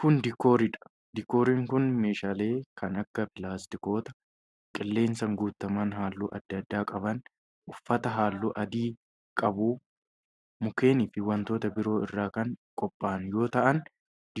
Kun, diikoorii dha. Diikooriin kun, meeshaalee kan akka:pilaastikoota qilleensaan guutaman haalluu adda addaa qaban, uffata haalluu adii qabu, mukkeen fi wantoota biroo irraa kan qopha'an yoo ta'an,